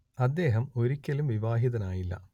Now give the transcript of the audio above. അദ്ദേഹം ഒരിക്കലും വിവാഹിതനായില്ല